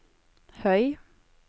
høy